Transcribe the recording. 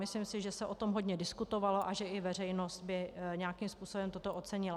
Myslím si, že se o tom hodně diskutovalo a že i veřejnost by nějakým způsobem toto ocenila.